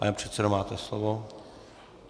Pane předsedo, máte slovo.